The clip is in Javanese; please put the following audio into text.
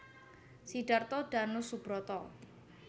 Sidarto Danusubroto